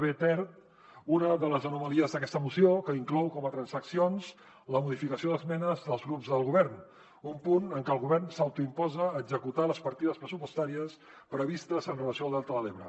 b ter una de les anomalies d’aques·ta moció que inclou com a transaccions la modificació d’esmenes dels grups del go·vern un punt en què el govern s’autoimposa executar les partides pressupostàries previstes amb relació al delta de l’ebre